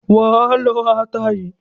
Wà á lọ ata yìí.